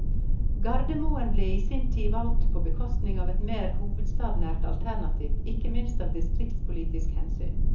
Gardermoen ble i sin tid valgt på bekostning av et mer hovedstadsnært alternativ ikke minst av distriktspolitiske hensyn.